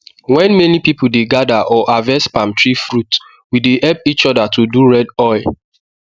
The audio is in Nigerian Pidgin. when many people dey gather or harvest palm tree fruit we dey help each other to do red oil